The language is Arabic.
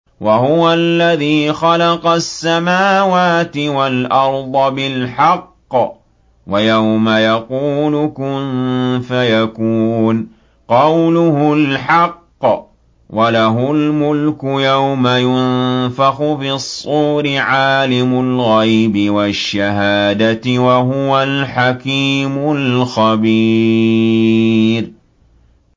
وَهُوَ الَّذِي خَلَقَ السَّمَاوَاتِ وَالْأَرْضَ بِالْحَقِّ ۖ وَيَوْمَ يَقُولُ كُن فَيَكُونُ ۚ قَوْلُهُ الْحَقُّ ۚ وَلَهُ الْمُلْكُ يَوْمَ يُنفَخُ فِي الصُّورِ ۚ عَالِمُ الْغَيْبِ وَالشَّهَادَةِ ۚ وَهُوَ الْحَكِيمُ الْخَبِيرُ